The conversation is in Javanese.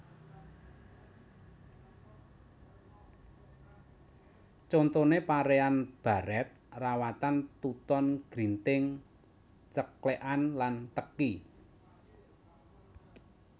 Contoné paréan barèt rawatan tuton grinting ceklèkan lan teki